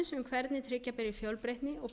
hvernig tryggja beri fjölbreytni